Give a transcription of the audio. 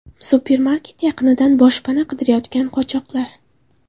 Supermarket yaqinidan boshpana qidirayotgan qochoqlar.